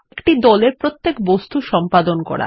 একটি দলের প্রতিটি বস্তু সম্পাদন করা